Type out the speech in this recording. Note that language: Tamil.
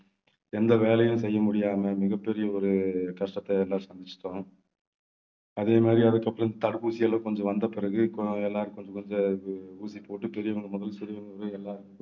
எந்த வேலையும் செய்ய முடியாம மிகப்பெரிய ஒரு கஷ்டத்தை எல்லாம் சந்திச்சிட்டோம் அதே மாதிரி அதுக்கப்புறம் தடுப்பூசி எல்லாம் கொஞ்சம் வந்தபிறகு இப்ப எல்லாரும் கொஞ்சம் கொஞ்சம் அது ஊசி போட்டு பெரியவங்க முதல் சிறியவங்க வரை எல்லாரும்